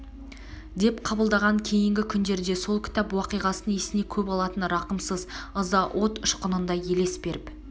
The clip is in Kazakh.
деп қабылдаған кейнгі күндерде сол кітап уақиғасын есіне көп алатын рақымсыз ыза от ұшқынындай елес беріп